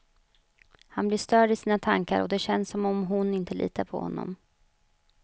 Han blir störd i sina tankar och det känns som om hon inte litar på honom.